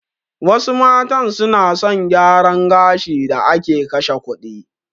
Wasu matan suna son gyaran gashin da ake kashe kuɗin.